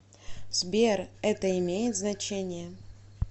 сбер это имеет значение